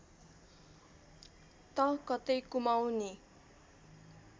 त कतै कुमाउँनी